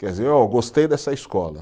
Quer dizer, ô eu gostei dessa escola.